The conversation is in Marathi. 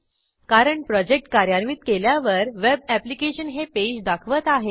कारण प्रोजेक्ट कार्यान्वित केल्यावर वेब ऍप्लिकेशन हे पेज दाखवत आहे